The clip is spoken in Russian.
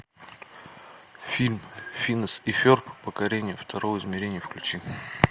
фильм финес и ферб покорение второго измерения включи